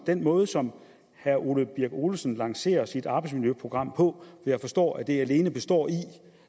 den måde som herre ole birk olesen lancerer sit arbejdsmiljøprogram må jeg forstå at det alene består i